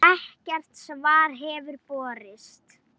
Ekkert svar hefur borist.